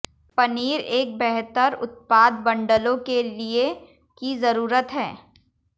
पनीर एक बेहतर उत्पाद बंडलों के लिए की जरूरत है